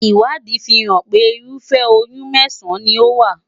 Ìwádìí fi hàn pé ırúfẹ́ oyún mẹ́sàn-án ni ó wà.